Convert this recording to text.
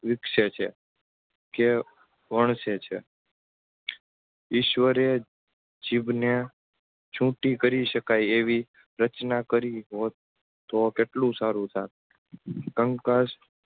વિકશે છે. કે વણસે છે ઈશ્વરે જીભને છૂટી કરી શકાય એવી રચના કરી હોટ તો કેટલું સારું થાત કંકાસ